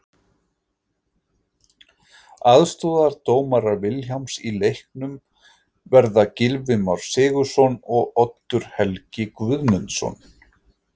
Aðstoðardómarar Vilhjálms í leiknum verða Gylfi Már Sigurðsson og Oddur Helgi Guðmundsson.